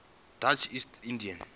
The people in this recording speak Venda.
dutch east india